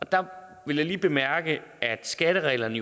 der vil jeg lige bemærke at skattereglerne